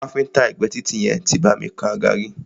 Káfíńńtà ẹ̀gbé títì yẹn tí bá mi kan àga rí.